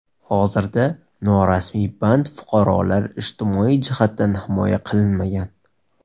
Hozirda norasmiy band fuqarolar ijtimoiy jihatdan himoya qilinmagan.